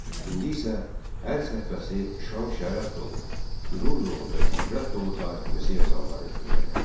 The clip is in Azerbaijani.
İndi isə hər səhifəsi şan-şərəf dolu, qürur dolu və ibrət dolu tariximizi yazanları öyrənək.